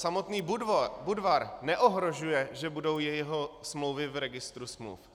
Samotný Budvar neohrožuje, že budou jeho smlouvy v registru smluv.